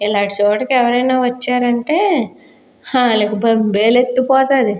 ఇలాంటి చోటకి ఎవరైనా వచ్చారంటే హ ఆలకి బేలొత్తిపోతాది.